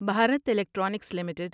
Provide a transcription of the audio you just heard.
Bharat electronics limited